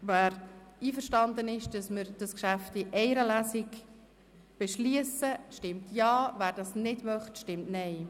Wer einverstanden ist, das Geschäft in einer Lesung zu beschliessen, stimmt Ja, wer dies nicht möchte, stimmt Nein.